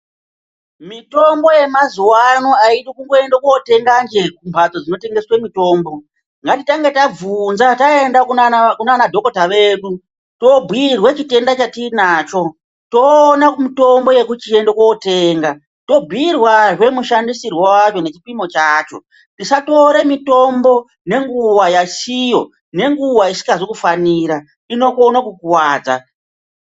Mitombo yemazuwa ano aidi kundotenganje kumbatso dzinotengeswe mitombo ngatitange tabvunza taenda kunana dhokota vedu tobhiirwa chitenda chatinacho toone mutombo wekuchienda kootenga tobhiirwazve mushandisirwo acho nechipimo chacho tisatora mitombo ngenguwa yasiyo ngenguwa isingazi kufanira inokone kukuwadza .